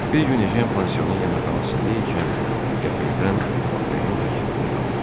Bir gün Ejen pansionun yeməkxanasında ikən qəfildən Votrenin təklifini xatırladı.